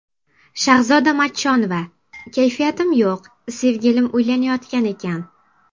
Shahzoda Matchonova: Kayfiyatim yo‘q, sevgilim uylanayotgan ekan.